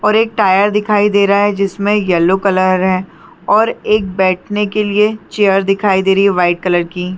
और एक टायर दिखाई दे रहा है जिसमे येलो कलर है और एक बैठने के लिए चेयर दिखाई दे रही है वाइट कलर की।